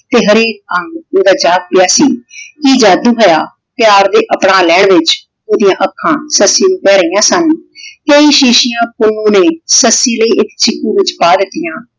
ਤੇ ਹਰੇਕ ਅੰਗ ਉਹਦਾ ਜਾਗ ਪਿਆ ਸੀ ਕਿ ਜਾਦੂ ਹੋਇਆ। ਪਿਆਰ ਦੇ ਅਪਣਾ ਲੈਣ ਵਿਚ ਉਹਦੀਆਂ ਅੱਖਾਂ ਸੱਸੀ ਨੂੰ ਕਹਿ ਰਹੀਆਂ ਸਨ ਕਈ ਸ਼ੀਸ਼ੀਆਂ ਪੁੰਨੂੰ ਨੇ ਸੱਸੀ ਲਈ ਇੱਕ ਛਿੱਕੂ ਦੇ ਵਿਚ ਪਾ ਦਿੱਤੀਆਂ।